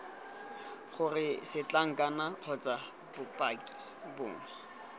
gore setlankana kgotsa bopaki bongwe